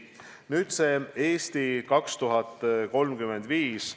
Nüüd "Eesti 2035".